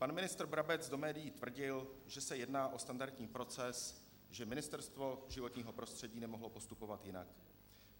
Pan ministr Brabec do médií tvrdil, že se jedná o standardní proces, že Ministerstvo životního prostředí nemohlo postupovat jinak.